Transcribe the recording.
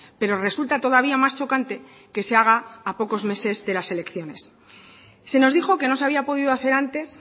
pero resulta todavía más chocante que se haga a pocos meses de las elecciones se nos dijo que no se había podido hacer antes